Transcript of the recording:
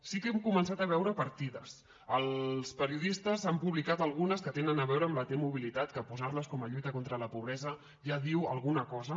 sí que hem començat a veure partides els periodistes n’han publicat algunes que tenen a veure amb la t mobilitat que posar les com a lluita contra la pobresa ja diu alguna cosa